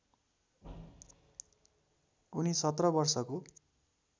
उनी १७ वर्षको